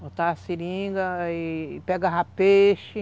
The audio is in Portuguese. Botava seringa e pegava peixe.